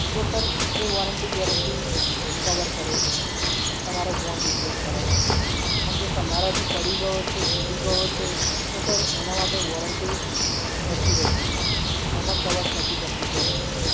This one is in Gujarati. તો Sir એ Warranty Guarantee cover કરે છે Sir, તમારો phone Replace કરવા માટે Sir પણ જો તમારાથી પડી ગયો છે, તૂટી ગયો છે, તો Sir એના માટે Sir નથી રહેતી Sir એમાં cover નથી થતી guarantee.